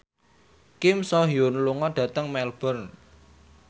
Kim So Hyun lunga dhateng Melbourne